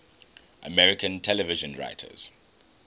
american television writers